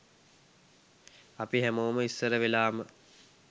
අපි හැමෝම ඉස්සර වෙලාම